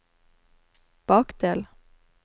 bakdel